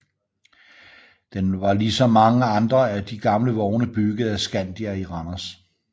Den var ligesom mange andre af de gamle vogne bygget af Scandia i Randers